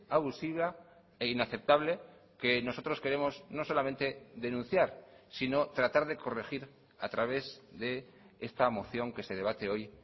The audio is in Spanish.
abusiva e inaceptable que nosotros queremos no solamente denunciar sino tratar de corregir a través de esta moción que se debate hoy